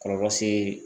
Kɔlɔlɔ se